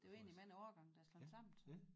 Det er jo egentlig mange årgange der er slået sammen så